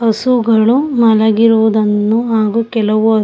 ಹಸುಗಳು ಮನೆಗೆ ಹೋದ ಮೇಲೆ ಕೆಲವು